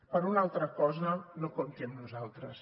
per una altra cosa no compti amb nosaltres